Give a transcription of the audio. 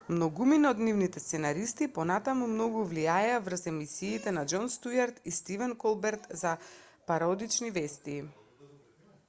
многумина од нивните сценаристи и понатаму многу влијаеа врз емисиите на џон стјуарт и стивен колберт за пародични вести